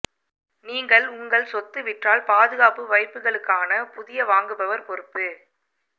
நீங்கள் உங்கள் சொத்து விற்றால் பாதுகாப்பு வைப்புகளுக்கான புதிய வாங்குபவர் பொறுப்பு